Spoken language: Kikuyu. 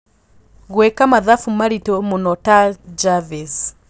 gũĩka mathabũ maritũ mũno ta jarvis